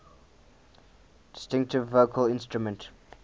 distinctive vocal instrument